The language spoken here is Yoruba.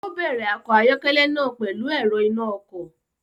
O bẹrẹ ọkọ ayọkẹlẹ náà pẹlu èrò ìnà ọkọ